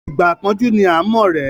Ìgbà ìpọ́njú ni à ń mọ ọ̀rẹ́.